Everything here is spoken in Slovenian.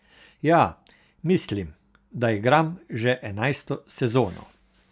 Ja, mislim, da igram že enajsto sezono.